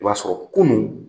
I b'a sɔrɔ kunun,